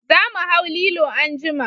Za mu hau lilo anjima